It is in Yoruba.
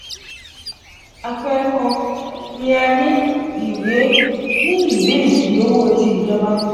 apẹẹrẹ kan ni a ni ìwé ni ìwé edidi owo ti ijoba.